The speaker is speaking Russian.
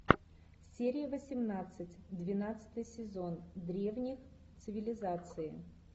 серия восемнадцать двенадцатый сезон древние цивилизации